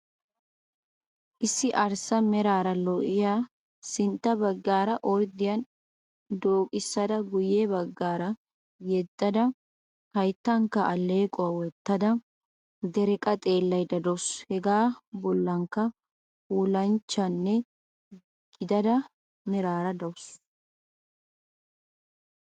Issi arssa meraara lo"iyaa sintta baggaara orddiyaan dooqissada guyye baggaa yeddaagada hayttankka alleequwaa wottada dereqqa xeellayda de'awusu. Hegaa bollankka puulanchchanne gidida meraara de'awusu